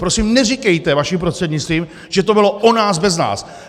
Prosím, neříkejte, vaším prostřednictvím, že to bylo o nás bez nás.